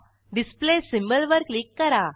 display symbol वर click करा